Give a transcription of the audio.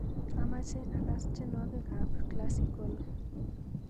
Amache agaas tyenwogikab klasikol